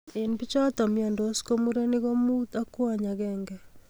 En bichoton miondos ko murenik ko mut ak ak kwony agenge